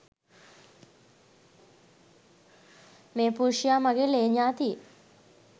මේ පුරුෂයා මගේ ලේ ඥාතියෙක්.